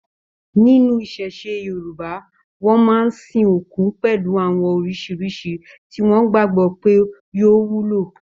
Nínú iṣẹṣe Yorùbá, wọn máa n sìn òkú pẹlú àwọn oríṣiríṣi tí wọn gbagbọ pé yóò wúlò.